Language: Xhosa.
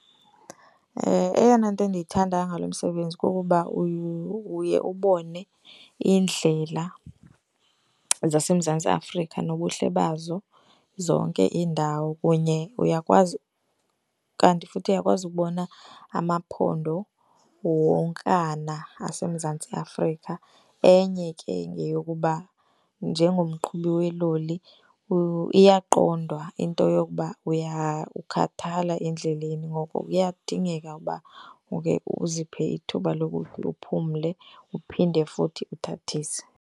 Eyona nto endiyithanda ngalo msebenzi kukuba uye ubone iindlela zaseMzantsi Afrika nobuhle bazo zonke iindawo kunye uyakwazi, kanti futhi uyakwazi ubona amaphondo wonkana aseMzantsi Afrika. Enye ke yeyokuba njengoMqhubi weloli iyaqondwa into yokuba uya kukhathala endleleni, ngoko kuyadingeka uba ukhe uziphe ithuba lokuba uphumle uphinde futhi uthathise.